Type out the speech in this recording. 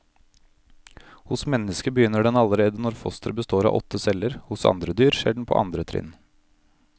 Hos mennesket begynner den allerede når fosteret består av åtte celler, hos andre dyr skjer den på andre trinn.